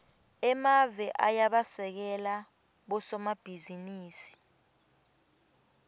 emave ayabasekela bosomabhizinisi